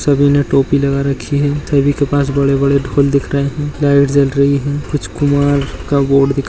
सभी ने टोपी लगा रखी है सभी के पास बड़े बड़े ढोल दिख रहे है लाइट जल रही है कुछ कुमार का बोर्ड --